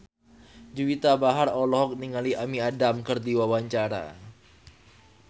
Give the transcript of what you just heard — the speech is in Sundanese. Juwita Bahar olohok ningali Amy Adams keur diwawancara